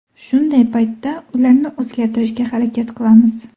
Shunday paytda ularni o‘zgartirishga harakat qilamiz.